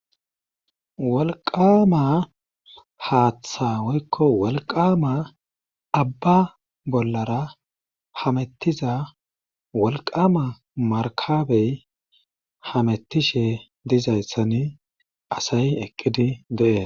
wolqama haaththawoykko wolqama abba bollara hamettiza wolqama markabey hamettishe dizayssani asayi eqqidi deee